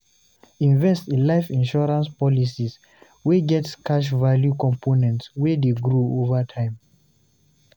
Invest in life insurance policies wey get cash value components wey de grow over time